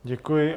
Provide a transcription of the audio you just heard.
Děkuji.